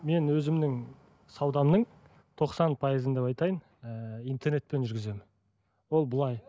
мен өзімнің саудамның тоқсан пайызын деп айтайын ыыы интернетпен жүргіземін ол былай